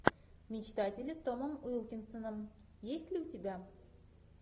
мечтатели с томом уилкинсоном есть ли у тебя